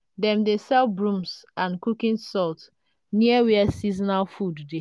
dem dey sell brooms and cooking salt near where seasonal food dey.